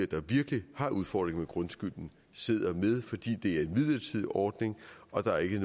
der virkelig har udfordringer med grundskylden sidder med fordi det er en midlertidig ordning og der ikke